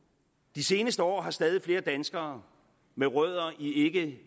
de seneste år har stadig flere danskere med rødder i i